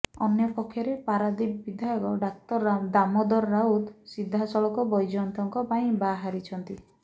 ଅନ୍ୟପକ୍ଷରେ ପାରାଦୀପ ବିଧାୟକ ଡାକ୍ତର ଦାମୋଦର ରାଉତ ସିଧାସଳଖ ବୈଜୟନ୍ତଙ୍କ ପାଇଁ ବାହାରିଛନ୍ତି